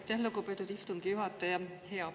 Aitäh, lugupeetud istungi juhataja!